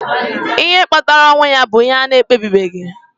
Ihe kpatara ọnwụ ya bụ ihe a na-ekpebibeghị.